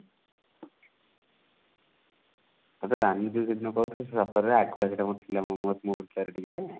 ତତେ ରାନି ଯଉ ସେଦିନ କହୁଥିଲି ସେ ସତରେ ରାଗ ଗୋଟେ ଥିଲା ମୋ ମୋ ଉପରେ ଟିକେ